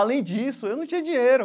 Além disso, eu não tinha dinheiro.